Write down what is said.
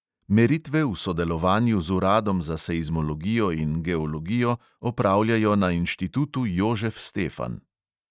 Meritve v sodelovanju z uradom za seizmologijo in geologijo opravljajo na inštitutu jožef stefan.